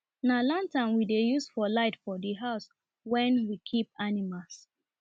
na lantern we dey use for light for the house wen we keep animals